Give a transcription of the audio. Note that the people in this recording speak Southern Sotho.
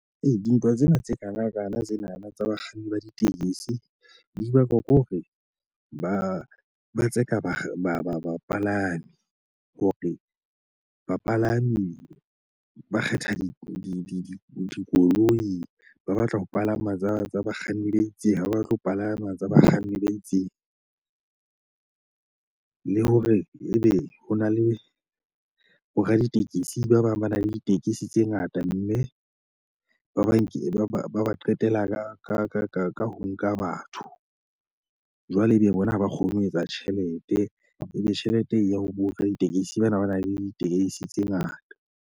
Ei dintwa tsena tse kanakana tsenana tsa bakganni ba ditekesi di bakwa ke hore ba ba tseka ba ba ba bapalami hore bapalami ba kgetha di dikoloi. Ba batla ho palama tsa tsa bakganni ba itseng, ha ba batle ho palama tsa bakganni ba itseng. Le hore ebe ho na le boraditekesi ba bang ba nang le ditekesi tse ngata, mme ba banke ba ba ba ba qetela ka ka ka ka ka ho nka batho. Jwale e be bona ha ba kgone ho etsa tjhelete, e be tjhelete e ya ho boraditekesi bana ba nang le ditekesi tse ngata.